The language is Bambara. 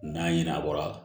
N'a ɲinɛ a bɔra